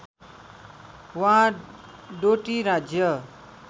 वा डोटी राज्य